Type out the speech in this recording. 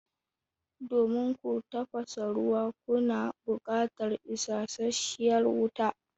Domin ku tafasa ruwa kuna buƙatar isashshiyar wuta.